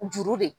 Juru de